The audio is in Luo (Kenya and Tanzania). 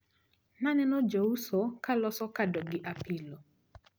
Naneno jouso kaloso kado gi apilo.